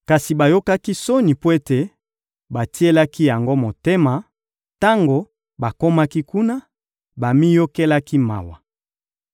Kasi bayokaki soni mpo ete batielaki yango motema; tango bakomaki kuna, bamiyokelaki mawa.